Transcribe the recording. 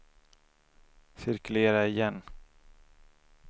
cirkulera igen